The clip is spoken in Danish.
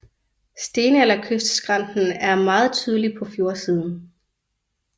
Stenalderkystskrænten er meget tydelig på fjordsiden